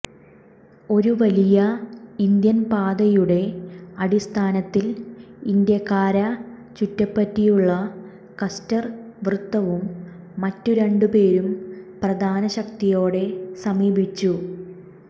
ഒരു വലിയ ഇന്ത്യൻ പാതയുടെ അടിസ്ഥാനത്തിൽ ഇൻഡ്യക്കാരെ ചുറ്റിപ്പറ്റിയുള്ള കസ്റ്റർ വൃത്തവും മറ്റു രണ്ടു പേരും പ്രധാന ശക്തിയോടെ സമീപിച്ചു